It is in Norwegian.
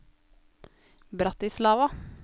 Bratislava